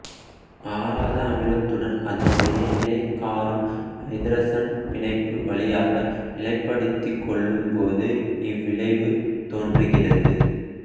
ஆதார அமிலத்துடன் அதனுடைய இணை காரம் ஐதரசன் பிணைப்பு வழியாக நிலைப்படுத்திக் கொள்ளும்போது இவ்விளைவு தோன்றுகிறது